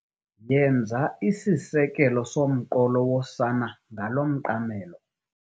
Yenza isisekelo somqolo wosana ngalo mqamelo.